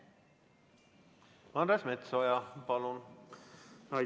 Andres Metsoja, palun!